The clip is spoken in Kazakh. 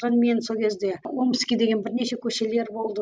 мен сол кезде омский деген бірнеше көшелер болды